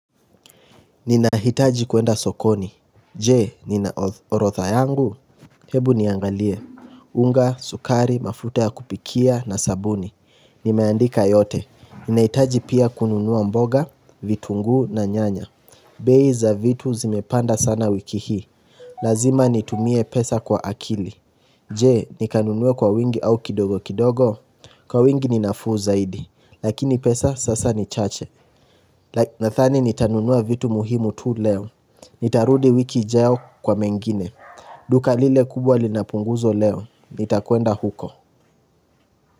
Ninahitaji kuenda sokoni Jee ninaorotha yangu? Hebu niangalie, unga, sukari, mafrute ya kupikia na sabuni, nimeandika yote, ninahitaji pia kununua mboga, vitunguu na nyanya bei za vitu zimepanda sana wiki hii Lazima nitumie pesa kwa akili Jee nikanunua kwa wingi au kidogo kidogo Kwa wingi ninafuu zaidi Lakini pesa sasa nichache Nathani nitanunua vitu muhimu tu leo Nitarudi wiki ijayo kwa mengine Duka lile kubwa linapunguzwa leo Nitakwenda huko.